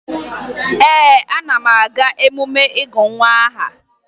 Ee, ana m aga emume ịgụ nwa aha